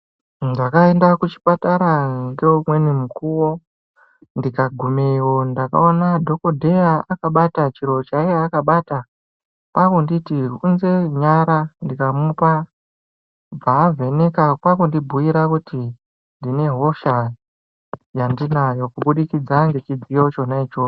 Ndakaenda kuchipatara ngeumweni mukuvo ndikagumeyo ndakaona dhogodheya akabata chiro chaiya akabata kwakunditi unze nyara ndikamupa. Bvaavheneka kwakundi bhuira kuti ndine hosha yandinayo, kubudikidza ngechidziyo chona ichocho.